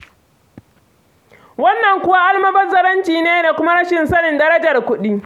Wannan kuwa almubazzaranci ne da kuma rashin sanin darajar kuɗi.